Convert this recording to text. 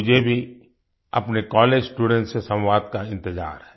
मुझे भी अपने कॉलेज स्टूडेंट से संवाद का इंतजार है